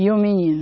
E um menino.